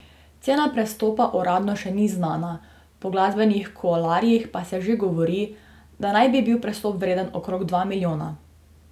Cena prestopa uradno še ni znana, po glasbenih kuloarjih pa se že govori, da naj bi bil prestop vreden okrog dva milijona.